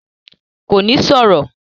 Kò ní sọ̀rọ̀?